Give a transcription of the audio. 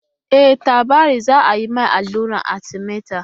E, Tabari za a yi ma alluran Arthemether.